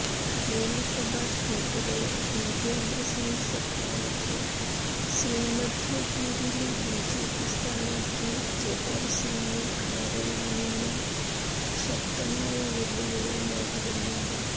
നിയമസഭാ സ്പീക്കര് ദീപേന്ദ്രസിങ് ഷെഖാവത്ത് ശ്രീമധോപൂരില് ബിജെപി സ്ഥാനാര്ത്ഥി ജബാര്സിങ് ഖാരയില്നിന്നും ശക്തമായ വെല്ലുവിളി നേരിടുന്നുണ്ട്